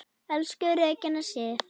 Elsku Regína Sif.